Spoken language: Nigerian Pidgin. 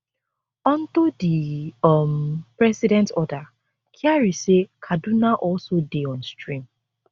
unto di um president order kyari say kaduna also dey on stream